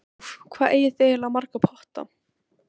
Úff, hvað eigið þið eiginlega marga potta?